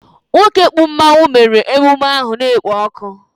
Nwoke kpụ mmanwu mere ememme ahụ na-ekpo ọkụ